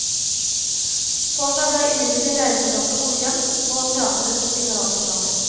Torsdag ble imidlertid regnskapet godkjent på teatrets generalforsamling.